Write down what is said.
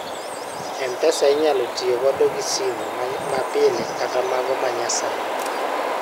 mpesa inyalo tiyo kodo gi sim ma pile kata mago ma nyasani